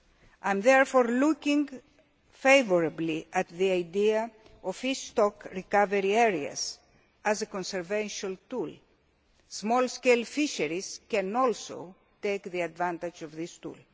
waters. I am therefore looking favourably at the idea of fish stock recovery areas as a conservation tool. Small scale fisheries can also take advantage of these,